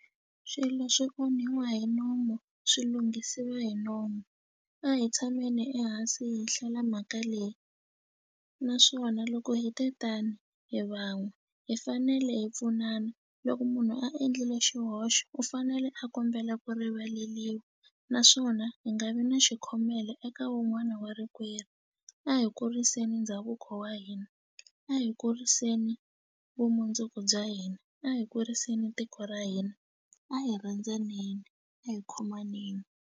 Swilo swi onhiwa hi nomu swi lunghisiwa hi nomu a hi tshameni ehansi hi hlela mhaka leyi naswona loko hi te ta ni hi van'we hi fanele hi pfunana loko munhu a endlile xihoxo u fanele a kombela ku rivaleliwa naswona hi nga vi na xikhomela eka wun'wani wa rikwerhu a hi kuriseni ndhavuko wa hina a hi kuriseni vumundzuku bya hina a hi kuriseni tiko ra hina a hi rhandzaneni a hi khomaneni.